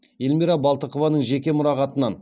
эльмира балтықованың жеке мұрағатынан